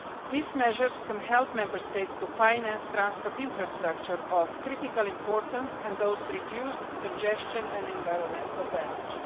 These measures can help Member States to finance transport infrastructure of critical importance and thus reduce congestion and environmental damage.